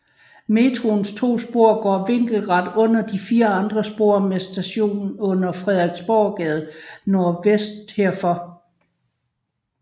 Metroens to spor går vinkelret under de fire andre spor med station under Frederiksborggade nordvest herfor